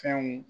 Fɛnw